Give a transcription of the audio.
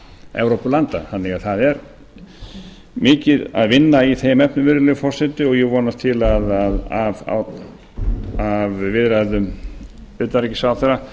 evrópulanda það er því mikið að vinna í þeim efnum virðulegi forseti og ég vonast til að af viðræðu utanríkisráðherra